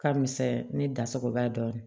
Ka misɛn ne da sogo bɛɛ ye